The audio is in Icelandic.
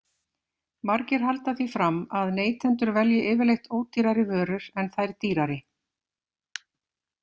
Margir halda því fram að neytendur velji yfirleitt ódýrari vörur en þær dýrari.